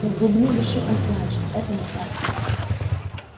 но в глубине души он знает что это не так